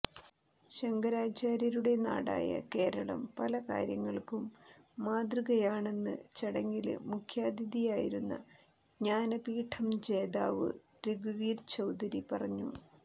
ശങ്കരാചാര്യരുടെ നാടായ കേരളം പല കാര്യങ്ങള്ക്കും മാതൃകയാണെന്ന് ചടങ്ങില് മുഖ്യാതിഥിയായിരുന്ന ജ്ഞാനപീഠം ജേതാവ് രഘുവീര് ചൌധരി പറഞ്ഞു